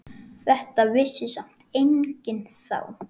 Þetta vissi samt enginn þá.